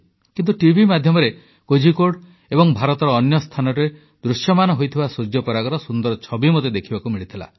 କିନ୍ତୁ ଟିଭି ମାଧ୍ୟମରେ କୋଝିକୋଡ୍ ଏବଂ ଭାରତର ଅନ୍ୟ ସ୍ଥାନରେ ଦୃଶ୍ୟମାନ ହୋଇଥିବା ସୂର୍ଯ୍ୟପରାଗର ସୁନ୍ଦର ଛବି ମୋତେ ଦେଖିବାକୁ ମିଳିଥିଲା